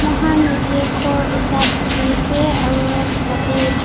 moi jatte gour ekta dekhi ase aru yate--